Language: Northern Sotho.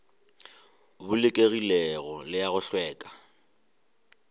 bolokegilego le a go hlweka